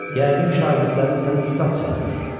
Yəqin şagirdlərin səni ustad çağırır.